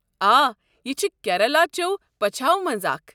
آ، یہِ چھِ کیرالہ چٮ۪و پچھاۄ مَنٛزٕ اکھ ۔